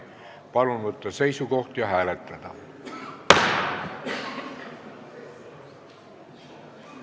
Palun võtta seisukoht ja hääletada!